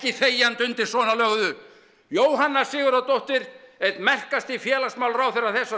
þegjandi undir svona löguðu Jóhanna Sigurðardóttir einn merkasti félagsmálaráðherra þessarar